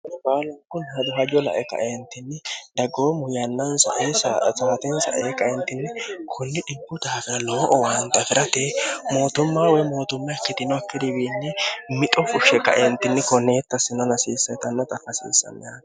baal kunni hado hajo lae kaeentinni daggoo mu yannaansa e sowtensaee qaentinni kunni dhibbu daafira loo owaanxa fi'rate mootummaa woy mootumma ikkidinokki diwiinni mixo fushshe qaentinni koneetta sino nasiisseetannota fasiissameha